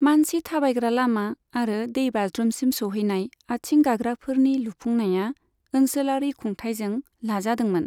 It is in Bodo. मानसि थाबायग्रा लामा आरो दैबाज्रुमसिम सौहैनाय आथिं गाग्राफोरनि लुफुंनाया ओनसोलारि खुंथायजों लाजादोंमोन।